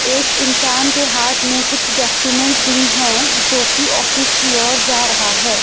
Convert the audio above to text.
एक इंसान के हाथ में कुछ डॉक्यूमेंट भी हैं जो की ऑफिस की ओर जा रहा है।